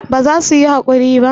ba za su yi hakuri ba